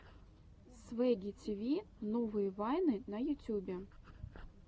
свэгги тиви новые вайны на ютюбе